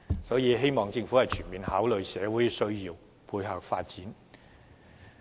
所以，我希望政府能全面考慮社會的需要而作出配合。